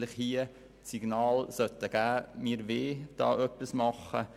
Damit würden wir das Signal aussenden, etwas unternehmen zu wollen.